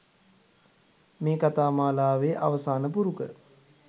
මේ කතා මාලාවේ අවසාන පුරුක